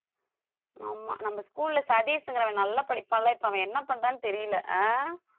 ஆமா நம்ம school ல சதீஷ்ங்கிறவன் நல்லா படிப்பான்ல இப்ப அவன் என்ன பண்றான்னு தெரியல ஆஹ்